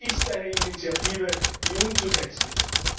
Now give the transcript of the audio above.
Es ist eine Initiative, die umzusetzen ist.